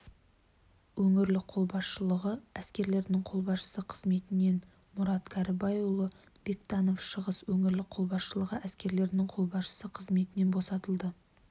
өңірлік қолбасшылығы әскерлерінің қолбасшысы қызметінен мұрат кәрібайұлы бектанов шығыс өңірлік қолбасшылығы әскерлерінің қолбасшысы қызметінен босатылды